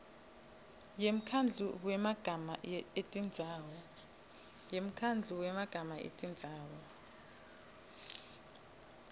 yemkhandlu wemagama etindzawo